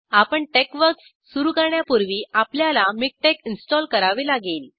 आपण टेक्सवर्क्स सुरू करण्यापूर्वी आपल्याला मिकटेक्स इंस्टॉल करावे लागेल